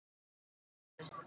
Áfram ÍR!